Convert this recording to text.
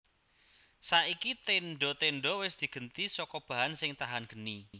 Saiki tendha tendha wis digenti saka bahan sing tahan geni